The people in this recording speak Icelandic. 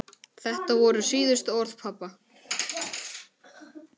Þetta voru síðustu orð pabba.